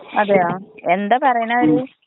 അതെയോ എന്താ പറയണേ അവര്.